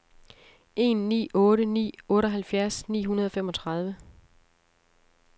en ni otte ni otteoghalvfjerds ni hundrede og femogtredive